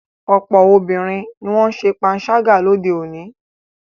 Ọ̀pọ̀ obìnrin ni wọ́n ń ṣe panṣágà lóde òní.